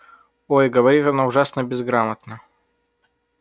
ой говорит она ужасно безграмотно